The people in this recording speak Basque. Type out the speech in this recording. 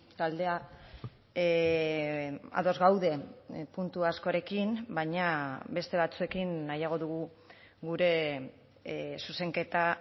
taldea ados gaude puntu askorekin baina beste batzuekin nahiago dugu gure zuzenketa